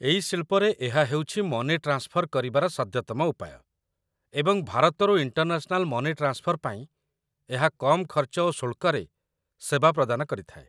ଏଇ ଶିଳ୍ପରେ ଏହା ହେଉଛି ମନି ଟ୍ରାନ୍ସଫର କରିବାର ସଦ୍ୟତମ ଉପାୟ, ଏବଂ ଭାରତରୁ ଇଣ୍ଟରନ୍ୟାସନାଲ ମନି ଟ୍ରାନ୍ସଫର ପାଇଁ ଏହା କମ୍ ଖର୍ଚ୍ଚ ଓ ଶୁଳ୍କରେ ସେବା ପ୍ରଦାନ କରିଥାଏ